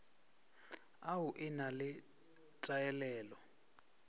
au e na le taelelo